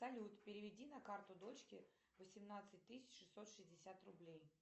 салют переведи на карту дочке восемнадцать тысяч шестьсот шестьдесят рублей